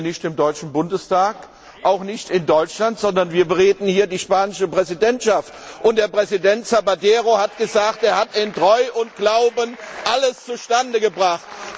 Wir sind hier nicht im Deutschen Bundestag, auch nicht in Deutschland, sondern wir bereden hier die spanische Ratspräsidentschaft. Und Präsident Zapatero hat gesagt, er hat in Treu und Glauben alles zustande gebracht.